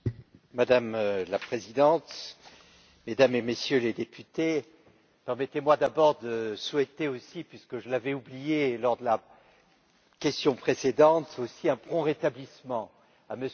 Madame la Présidente, Mesdames et Messieurs les députés, permettez moi d'abord de souhaiter aussi puisque je l'avais oublié lors de la question précédente un prompt rétablissement à M.